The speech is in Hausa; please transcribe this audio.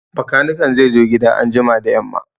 Bakaniken zai zo gida anjima da yamma